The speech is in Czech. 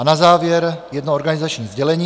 A na závěr jedno organizační sdělení.